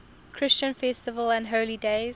christian festivals and holy days